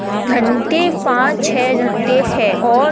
झंडे पाँच छः झंडे है और --